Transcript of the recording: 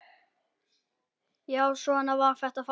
Já, svona var þetta þá.